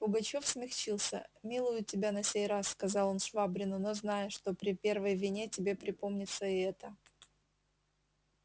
пугачёв смягчился милую тебя на сей раз сказал он швабрину но знай что при первой вине тебе припомнится и эта